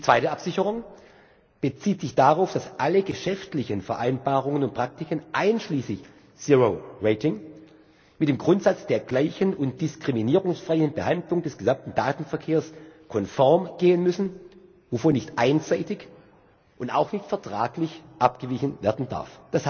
Die zweite Absicherung bezieht sich darauf, dass alle geschäftlichen Vereinbarungen und Praktiken einschließlich Zero Rating mit dem Grundsatz der gleichen und diskriminierungsfreien Behandlung des gesamten Datenverkehrs konform gehen müssen, wovon nicht einseitig und auch nicht vertraglich abgewichen werden darf.